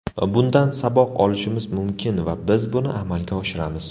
Bundan saboq olishimiz mumkin va biz buni amalga oshiramiz.